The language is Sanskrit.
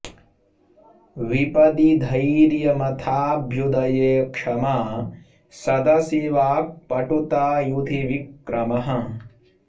विपदि धैर्यम् अथ अभ्युदये क्षमा सदसि वाक्पटुता युधि विक्रमः